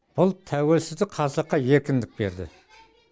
бұл тәуелсіздік қазаққа еркіндік берді